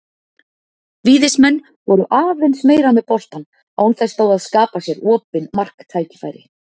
Víðismenn voru aðeins meira með boltann án þess þó að skapa sér opin marktækifæri.